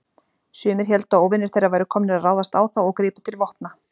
Sumir héldu að óvinir þeirra væru komnir að ráðast á þá og gripu til vopna.